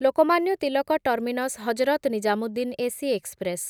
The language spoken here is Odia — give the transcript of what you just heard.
Lokmanya Tilak terminus Hazrat Nizamuddin AC express